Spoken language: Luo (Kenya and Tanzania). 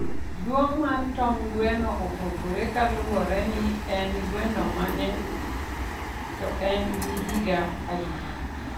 duong mar tong gweno opogore kalure ni en gweno mane to en gi higa adi